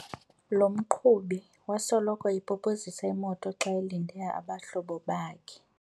Lo mqhubi wasoloko epopozisa imoto xa elinde abahlobo bakhe.